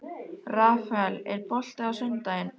Rafael, er bolti á sunnudaginn?